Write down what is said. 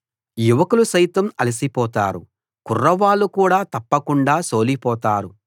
యువకులు సైతం అలసిపోతారు కుర్రవాళ్ళు కూడా తప్పకుండా సోలిపోతారు